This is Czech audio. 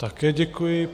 Také děkuji.